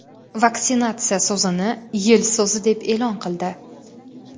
vaksinatsiya) so‘zini "Yil so‘zi" deb e’lon qildi.